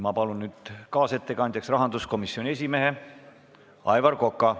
Ma palun nüüd kaasettekandjaks rahanduskomisjoni esimehe Aivar Koka.